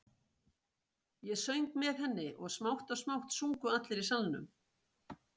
Ég söng með henni og smátt og smátt sungu allir í salnum.